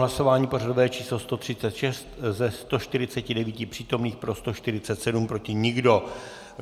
Hlasování pořadové číslo 136: ze 149 přítomných pro 147, proti nikdo.